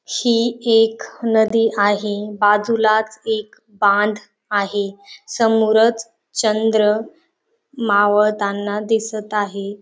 ही एक नदी आहेत बाजूलाच एक बांध आहेत समोरच चंद्र मावळताना दिसत आहे.